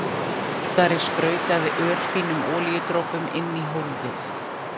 Úðari sprautaði örfínum olíudropum inn í hólfið.